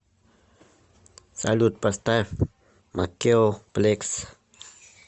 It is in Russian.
салют поставь макео плекс